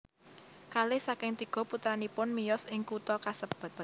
Kalih saking tiga putranipun miyos ing kutha kasebat